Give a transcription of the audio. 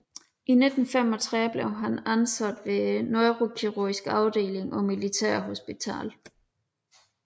I 1935 blev han ansat ved neurokirurgisk afdeling på Militærhospitalet